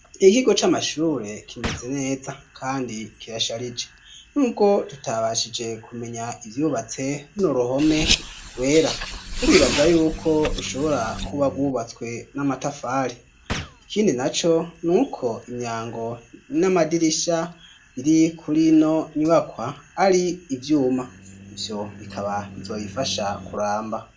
ikigo c'amashure kimeze neza kandi kirasharije n'ubwo tutabashije kumenya ibyubatse runo ruhome rwera turibaza yuko rushobora kuba gubatswe n'amatafari ikindi na co nuko imyango n'amadirisha biri kurino nyibakwa ari ibyuma ibyo bikaba bizoyifasha kuramba